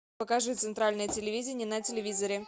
покажи центральное телевидение на телевизоре